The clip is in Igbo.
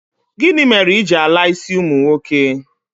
Gini mere I ji ala isi umu nwoke?